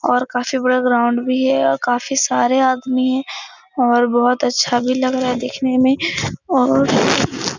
और काफी बड़ा ग्राउंड भी है और काफी सारे आदमी है और बहुत अच्छा भी लग रहा है देखने में और --